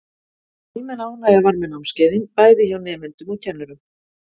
Almenn ánægja var með námskeiðin, bæði hjá nemendum og kennurum.